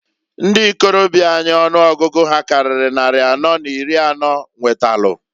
Ndi ikorobia anyị ọnụọgụgụ ha karịrị nnari anọ n'iri anọọ nwetalụ.